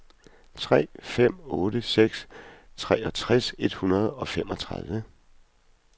tre fem otte seks treogtres et hundrede og femogtredive